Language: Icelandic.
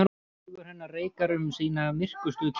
Hugur hennar reikar um sína myrkustu kima.